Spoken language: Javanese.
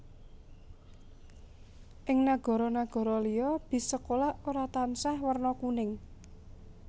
Ing nagara nagara liya bis sekolah ora tansah werna kuning